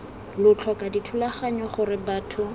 lo tlhoka dithulaganyo gore batho